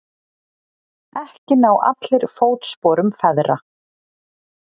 Ekki ná allir fótsporum feðra.